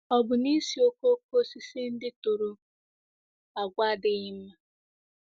Ọ̀ bụ na ísì okooko osisi ndị tụrụ àgwà adịghị mma?